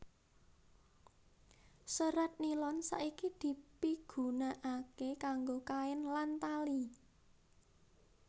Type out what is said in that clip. Serat nilon saiki dipigunakaké kanggo kain lan tali